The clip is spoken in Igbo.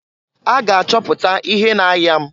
A ga achọpụta ihe na-aya m.